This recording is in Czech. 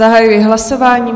Zahajuji hlasování.